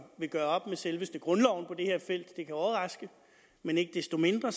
vil gøre op med selveste grundloven på det her felt det kan overraske men ikke desto mindre